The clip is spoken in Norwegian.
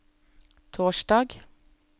torsdag